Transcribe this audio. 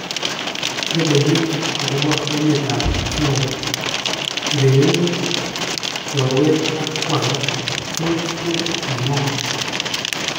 Logowek agopa met ap Floyd:urerenet, chorwet ak kwanda, George ko kigor?